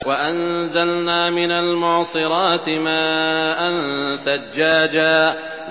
وَأَنزَلْنَا مِنَ الْمُعْصِرَاتِ مَاءً ثَجَّاجًا